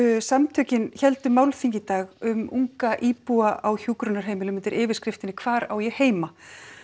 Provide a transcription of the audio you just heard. samtökin héldu málþing í dag um unga íbúa á hjúkrunarheimilum undir yfirskriftinni hvar á ég heima